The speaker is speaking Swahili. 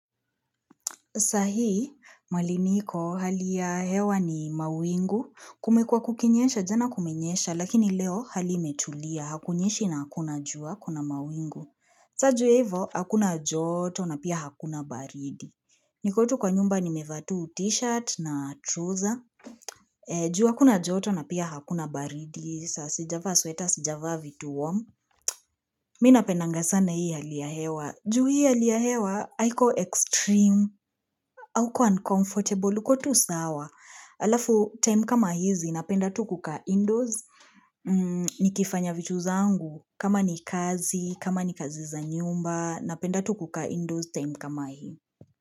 Saa hii mahali niko hali ya hewa ni mawingu kumekua kukinyensha jana kumenyesha lakini leo hali imetulia hakunyeshi na hakuna jua kuna mawingu saa juu ya hivo hakuna joto na pia hakuna baridi niko tu kwa nyumba nimeva tu t-shirt na trouser juu hakuna joto na pia hakuna baridi saa sijava sweta sijavaa vitu warm mimi napendanga sana hii hali ya hewa juu hii hali ya hewa haiko extreme hauko uncomfortable uko tu sawa. Alafu time kama hizi, napenda tu kukaa indoors Nikifanya vitu zangu, kama ni kazi, kama ni kazi za nyumba, napenda tu kukaa indoors time kama hii.